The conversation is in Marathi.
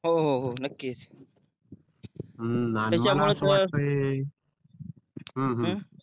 हो हो हो नक्कीच हम्म